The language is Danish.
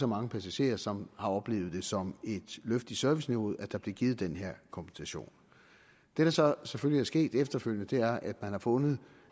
mange passagerer som har oplevet det som et løft af serviceniveauet at der blev givet den her kompensation det der så selvfølgelig er sket efterfølgende er at man har fundet